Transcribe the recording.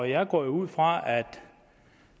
jeg går jo ud fra at